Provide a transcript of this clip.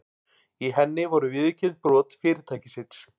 Í henni voru viðurkennd brot fyrirtækisins